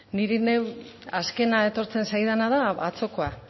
niri neu azkena etortzen zaidan da atzokoa